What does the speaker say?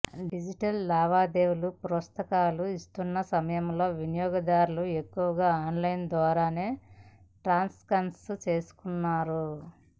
digital లావాదేవీలకు ప్రోత్సాహకాలు ఇస్తున్న సమయంలో వినియోగదారులు ఎక్కువగా ఆన్లైన్ ద్వారానే ట్రాన్సాక్షన్స్ చేస్తున్నారు